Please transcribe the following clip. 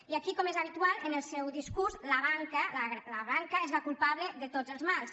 i aquí com és habitual en el seu discurs la banca és la culpable de tots els mals